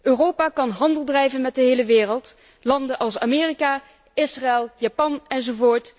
Europa kan handel drijven met de hele wereld, met landen als Amerika, Israël, Japan, enz.,